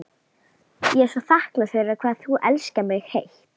Ég er svo þakklát fyrir hvað þú elskar mig heitt.